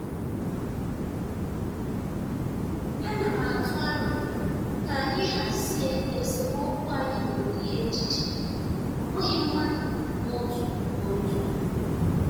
Ana m atụ aro ka anyị hazie esemokwu anyị n'ụdị echiche, ọ bụghị mmadụ n'otu n'otu.